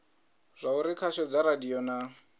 zwauri khasho dza radio na